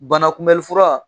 Bana kunbɛlifura